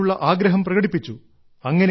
അറിയാനുള്ള ആഗ്രഹം പ്രകടിപ്പിച്ചു